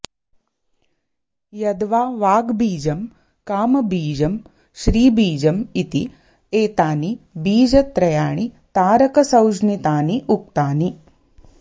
यद्वा वाग्बीजं कामबीजं श्रीबीजमिति एतानि बीजत्रयाणि तारकसंज्ञितानि उक्तानि